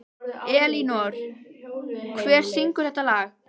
Elínór, hver syngur þetta lag?